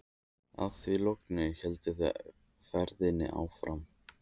Að því loknu héldu þau ferðinni áfram.